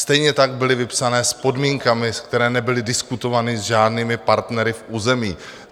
Stejně tak byly vypsané s podmínkami, které nebyly diskutovány s žádnými partnery v území.